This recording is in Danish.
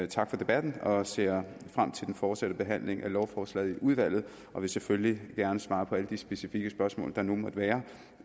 tak for debatten og jeg ser frem til den fortsatte behandling af lovforslaget i udvalget og vil selvfølgelig gerne svare på alle de specifikke spørgsmål der nu måtte være